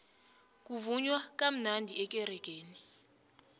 kuvunywa kamnandi ekeregeni